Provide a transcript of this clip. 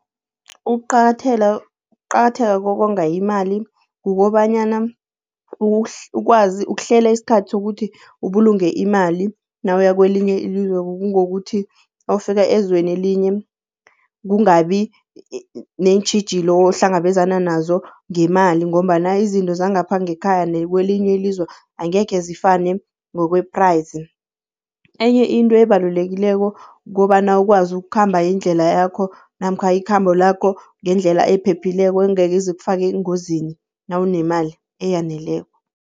Ukuqakatheka kokonga imali kukobanyana ukwazi ukuhlela isikhathi sokuthi ubulunge imali nawuya kwelinye ilizwe, kungokuthi nawufika ezweni elinye kungabi neentjhijilo ohlangabezana nazo ngemali ngombana izinto zangapha ngekhaya nakwelinye ilizwe angekhezifane ngokwe-price, enye into ebalulekileko kukobana ukwazi ukukhamba indlela yakho namkha ikhambo lakho ngendlela ephephileko engekhe ize ikufake engozini nawunemali eyaneleko.